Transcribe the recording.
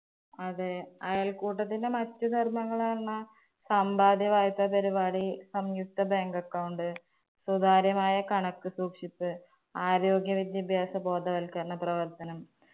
അതെ അയൽക്കൂട്ടത്തിന്റെ മറ്റ് പറഞ്ഞാ സമ്പാദ്യ വായ്പ്പ പരുപാടി, സംയുക്ത bank account, സുധാര്യമായ കണക്ക് സൂക്ഷിപ്പ്, ആരോഗ്യ വിദ്യാഭ്യാസ ബോധവൽക്കരണ പ്രവർത്തനം